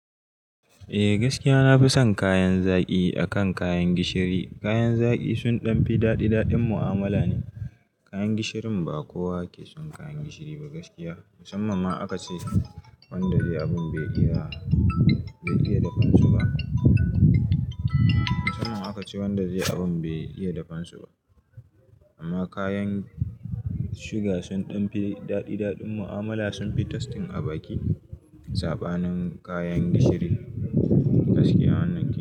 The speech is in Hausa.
Eh gaskiya nafi son kayan zaki akan kayan gishiri. Kayan zaki sun dan fi dadi dadin mu'amala ne. Kayan gishirin ba kowa ke son kayan gishiri ba gaskiya. Musamman ma aka ce wanda zai abun bai iya dafa su ba. Musamman aka ce wanda zai abun bai iya dafan su ba. Amma kayan suga sun danfi dadi dadin mu'amala sun fi tastin abaki sabanin kayan gishiri gaskiya wannan ke.